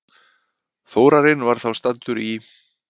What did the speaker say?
Þórarinn var þá staddur í